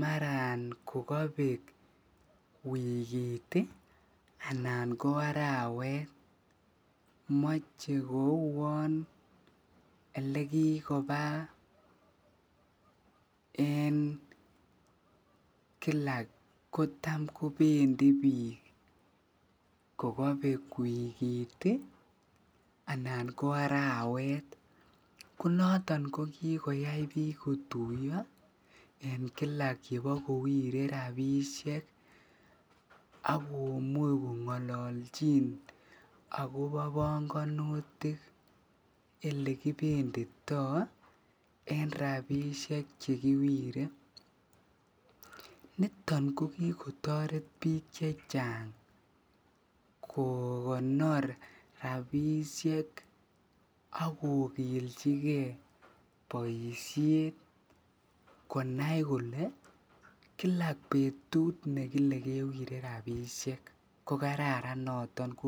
maran kokobek wikit anan ko arawet, moche kouon elekikoba en kilak kotam kobendi biik kokobek wikit anan ko arawet, ko noton ko kikoyai biik kotuyo en kila yebokowire rabishek ak komuch kongololchin ak kobo bongonutik elekibendito en rabishek chekiwire, niton o kikotoret biik chechang kokonor rabishek ak kokilchike boishet konai kole kila betut nekile kewire rabishek.